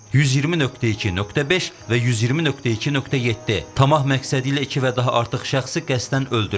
120.2.5 və 120.2.7 tamah məqsədi ilə iki və daha artıq şəxsi qəsdən öldürmə.